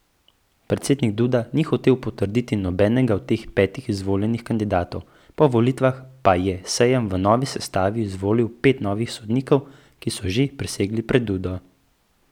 Predsednik Duda ni hotel potrditi nobenega od teh petih izvoljenih kandidatov, po volitvah pa je sejm v novi sestavi izvolil pet novih sodnikov, ki so že prisegli pred Dudo.